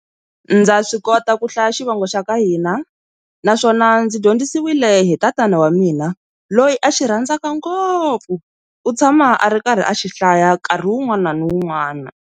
Ndza swi kota ku hlaya xivongo xa ka hina naswona ndzi dyondzisiwile hi tatana wa mina loyi a xi rhandzaka ngopfu u tshama a ri karhi a xihlaya nkarhi wun'wana ni wun'wana.